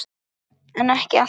en ekki alltaf